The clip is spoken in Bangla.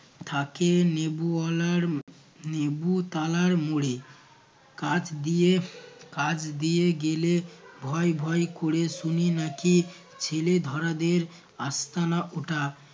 থাকে নেবু ওয়ালার নেবু তালার মোড়ে। কাছ দিয়ে কাছ দিয়ে গেলে ভয় ভয় ক'রে শুনি নাকি ছেলেধরাদের আস্তানা ওটা